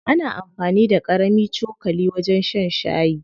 Ana amfani da ƙarami cokali wajen shan shayi.